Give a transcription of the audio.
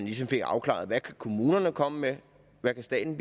ligesom fik afklaret hvad kommunerne kan komme med hvad staten